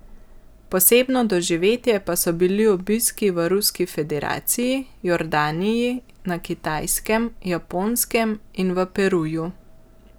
Posebno doživetje pa so bili obiski v Ruski federaciji, Jordaniji, na Kitajskem, Japonskem in v Peruju.